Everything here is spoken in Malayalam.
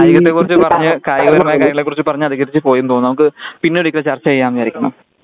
കായികത്തെ കുറിച്ച് പറഞ്ഞ് കായികപരമായ കാര്യങ്ങളെ കുറിച്ച് പറഞ്ഞ് അതികരിച്ച് പോയീന്നു തോന്നുന്നു. നമുക്ക് പിന്നെ ഒരിക്കൽ ചർച്ച ചെയ്യാമെന്ന് വിചാരിക്കുന്നു .